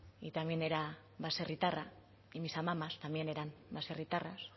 y también era baserritarra y mis amamas también eran baserritarras